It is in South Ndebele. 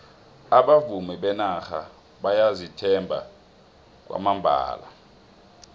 abavumi benarha bayazithemba kwamambala